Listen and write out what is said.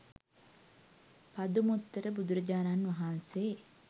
පදුමුත්තර බුදුරජාණන් වහන්සේ